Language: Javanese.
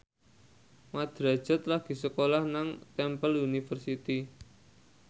Mat Drajat lagi sekolah nang Temple University